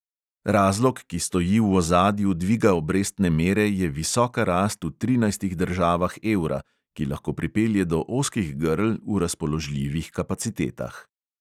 Razlog, ki stoji v ozadju dviga obrestne mere, je visoka rast v trinajstih državah evra, ki lahko pripelje do ozkih grl v razpoložljivih kapacitetah.